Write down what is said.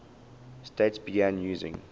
states began using